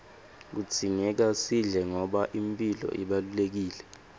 kudzingeka sidle ngoba imphilo ibalulekile